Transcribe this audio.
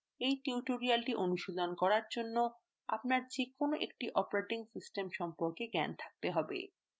এই tutorial অনুশীলন করার জন্য আপনার যেকোনো একটি operating system সম্পর্কে জ্ঞান থাকতে have